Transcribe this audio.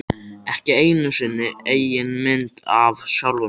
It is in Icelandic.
Ekki einu sinni eigin mynd af sjálfum mér.